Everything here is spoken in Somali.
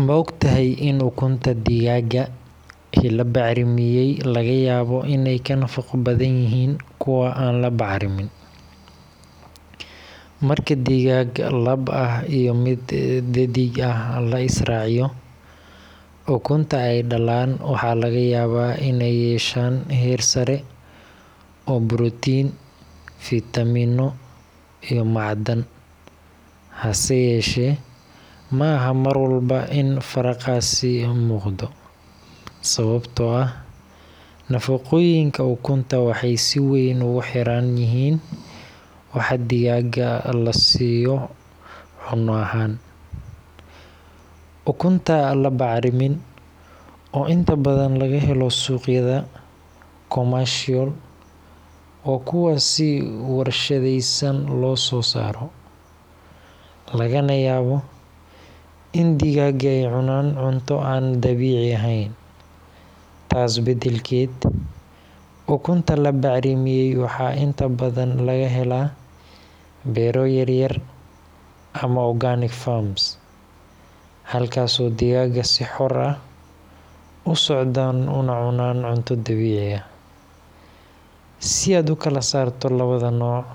Ma ogtahay in ukunta digaaga ee la bacrimiyay laga yaabo inay ka nafaqo badan yihiin kuwa aan la bacrimin? Marka digaag lab ah iyo mid dheddig ah la is raaciyo, ukunta ay dhalaan waxaa laga yaabaa inay yeeshaan heer sare oo borotiin, fiitamiinno iyo macdan. Hase yeeshee, ma aha mar walba in faraqaasi muuqdo, sababtoo ah nafaqooyinka ukunta waxay si weyn ugu xiran yihiin waxa digaaga la siiyo cunno ahaan. Ukunta aan la bacrimin, oo inta badan laga helo suuqyada commercial, waa kuwa si warshadaysan loo soo saaray, lagana yaabo in digaagga ay cunaan cunto aan dabiici ahayn. Taas beddelkeeda, ukunta la bacrimiyay waxaa inta badan laga helaa beero yaryar ama organic farms, halkaasoo digaagga si xor ah u socdaan una cunaan cunto dabiici ah. Si aad u kala saarto labada nooc,